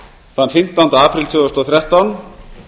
þann fimmtánda apríl tvö þúsund og þrettán